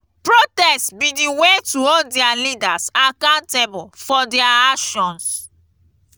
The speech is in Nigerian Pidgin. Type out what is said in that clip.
protest be di way to hold dia leaders accountable for dia actions.